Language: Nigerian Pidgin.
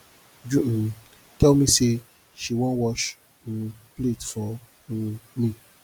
uju um tell me say she one wash um plate for um me